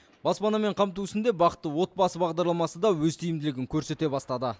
баспанамен қамту ісінде бақытты отбасы бағдарламасы да өз тиімділігін көрсете бастады